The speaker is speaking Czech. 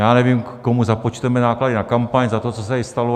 Já nevím, komu započteme náklady na kampaň za to, co se tady stalo.